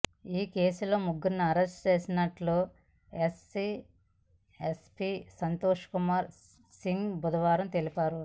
ఈ కేసులో ముగ్గురిని అరెస్టు చేసినట్లు ఎస్ఎస్పీ సంతోష్ కుమార్ సింగ్ బుధవారం తెలిపారు